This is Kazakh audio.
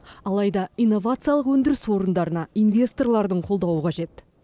алайда инновациялық өндіріс орындарына инвесторлардың қолдауы қажет